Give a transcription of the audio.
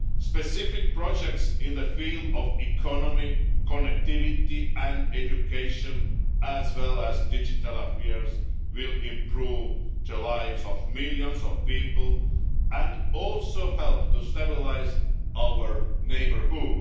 Specific projects in the field of economy, connectivity and education, as well as digital affairs, will improve the lives of millions of people and help to stabilise our neighbourhood.